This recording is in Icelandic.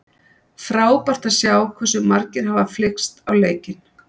Frábært að sjá hversu margir hafa flykkst á leikinn.